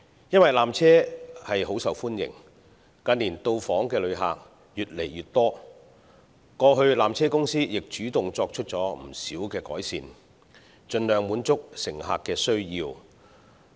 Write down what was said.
由於纜車甚受歡迎，近年到訪旅客亦越來越多，過去纜車公司曾主動作出不少改善，盡量滿足乘客的需要。